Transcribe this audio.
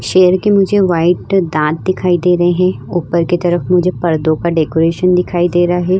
शेर के मुझे वाइट दांत दिखाई दे रहे है। ऊपर की तरफ मुझे पर्दो का डेकोरेशन दिखाई दे रहा है।